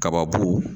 Kababu